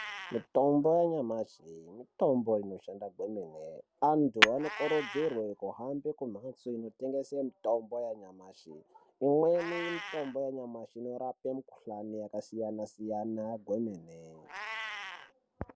Mitombo yanyamashi iyi ,mitombo inoshanda kwemene, vanthu vanokurudzirwa kuenda kuzvitoro zvinotengesa ngekuti inorapa mukhuhlani yakasiyana siyana kwemene .